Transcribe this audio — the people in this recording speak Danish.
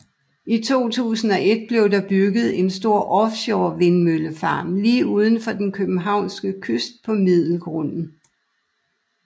I 2001 blev der bygget en stor offshore vindmøllefarm lige uden for den københavnske kyst på Middelgrunden